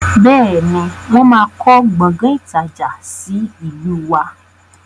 Bẹ́ẹ̀ni, wọn má kọ Gbọ̀ngán ìtajà sì ìlú wá.